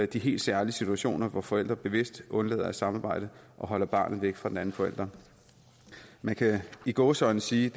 de helt særlige situationer hvor forældre bevidst undlader at samarbejde og holder barnet væk fra den anden forælder man kan i gåseøjne sige